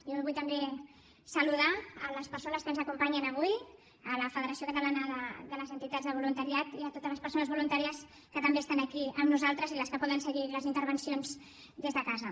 jo vull també saludar les persones que ens acompanyen avui la federació catalana de les entitats de voluntariat i totes les persones voluntàries que també estan aquí amb nosaltres i les que poden seguir les intervencions des de casa